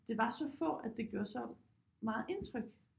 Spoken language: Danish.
Det var så få at det gjorde så meget indtryk